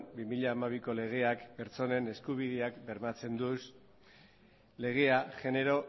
bi mila hamabiko legeak pertsonen eskubideak bermatzen ditu legea genero